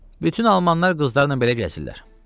Bütün almanlar qızlarla belə gəzirlər.